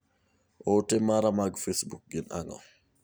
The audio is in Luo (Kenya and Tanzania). Ote mara mag facebook gin ang'o